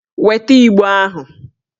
Weta Igbo ahụ!